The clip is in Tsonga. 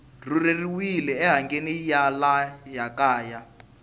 rhurheriwile enhangeni ya laha kaya